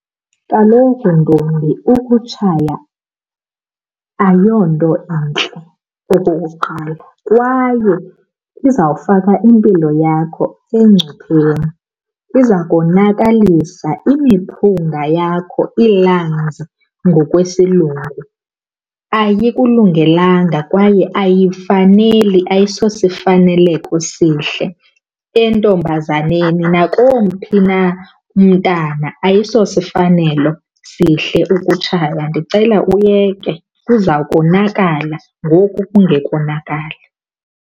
Kaloku ntombi ukutshaya ayonto intle okokuqala kwaye kuzawufaka impilo yakho engcupheni. Iza konakalisa imiphunga yakho, ii-lungs ngokwesilungu. Ayikulungelanga kwaye ayikufaneli ayisosifaneleko sihle entombazaneni, nakomphi na umntana ayisosifanelo sihle ukutshaya. Ndicela uyeke kuza konakala, ngoku kungekonakali.